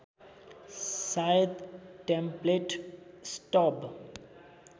सायद template stub